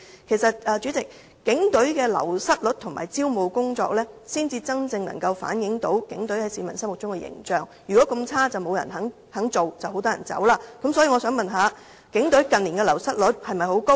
主席，其實警隊的流失率及招募工作才能真正反映警隊在市民心目中的形象，如果警隊真的這麼差，自然沒有人會願意加入，亦會有很多人離職。